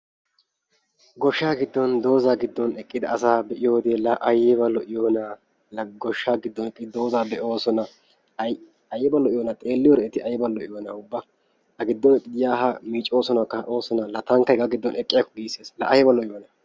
Goshsha giddon dooza giddon eqqida asa be'iyoode la aybba lo'iyoona! la goshsha giddon eqqidi dooza be'oosona aybba lo''iyoona a giddon eqqidi ya ha xeelooosona miccoosona kaa'oosona. taankk hega giddon eqqiyaako giissees, la aybba lo''iyonna!